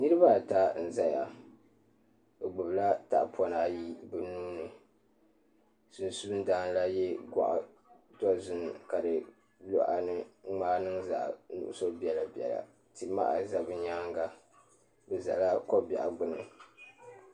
Niraba ata n ʒɛya bi gbubila tahapona ayi bi nuuni sunsuun dan la yɛ goɣa dozim ka di luɣa ni ŋmaai niŋ zaɣ nuɣso biɛla ti maha ʒɛ bi nyaanga bi ʒɛla ko biɛɣu gbuni